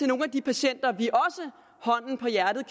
nogle af de patienter vi hånden på hjertet